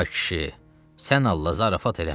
Ay kişi, sən Allah zarafat eləmə.